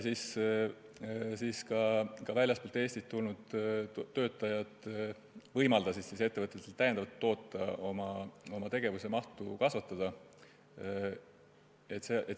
Nii võimaldasidki väljastpoolt Eestit tulnud töötajad ettevõtjatel täiendavalt toota, oma tegevuse mahtu kasvatada.